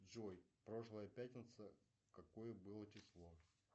джой прошлая пятница какое было число